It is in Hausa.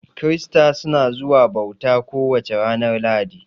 Kirista suna zuwa bauta ko wace ranar lahadi